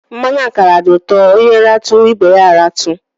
Mmanụ akara dị ụtọ; onye ratụ, ibe ya a ratụ